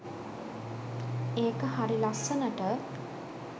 ඒක හරි ලස්සනට